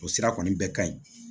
O sira kɔni bɛɛ ka ɲi